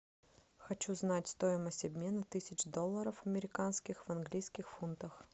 хочу знать стоимость обмена тысяч долларов американских в английских фунтах